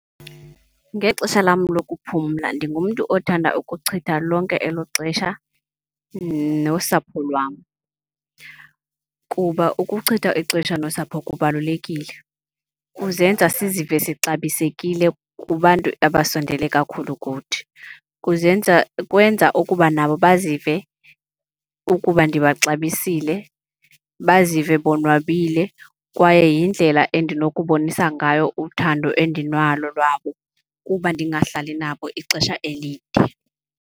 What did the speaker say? Ngexesha lam lokuphumla ndingumntu othanda ukuchitha lonke elo xesha nosapho lwam kuba ukuchitha ixesha nosapho kubalulekile. Kuzenza sizive sixabisekile kubantu abasondele kakhulu kuthi, kuzenza kwenza ukuba nabo bazive ukuba ndibaxabisile, bazive bonwabile. Kwaye yindlela endinokubonisa ngayo uthando endinalo lwabo kuba ndingahlali nabo ixesha elide.